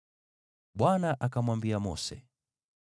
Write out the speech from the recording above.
Bwana akamwambia Mose,